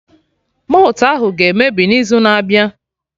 Malt ahụ ga-emebi n'izu na-abịa